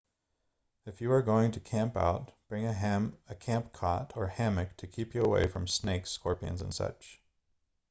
if you are going to camp out bring a camp cot or hammock to keep you away from snakes scorpions and such